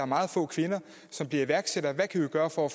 meget få kvinder som bliver iværksættere hvad kan vi gøre for